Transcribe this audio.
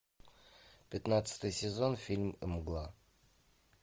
пятнадцатый сезон фильм мгла